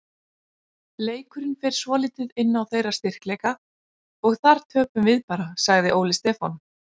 Leikurinn fer svolítið inn á þeirra styrkleika og þar töpum við bara, sagði Óli Stefán.